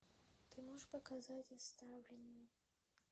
ты можешь показать оставленные